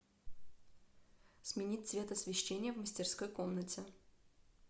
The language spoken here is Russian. сменить цвет освещение в мастерской комнате